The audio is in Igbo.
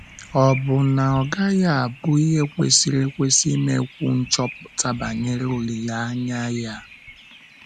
Ọ́ bụ na ọ gaghị abụ ihe kwesịrị ekwesị imekwu nchọpụta banyere olileanya a?